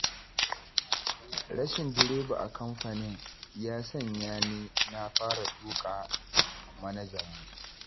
Rashin direba a kamfanin, ya sanya ni na fara tuƙa manajanmu.